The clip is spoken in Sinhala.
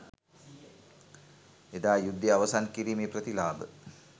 එදා යුද්ධය අවසන් කිරීමේ ප්‍රතිලාභ